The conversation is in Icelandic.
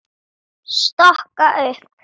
Stokka upp.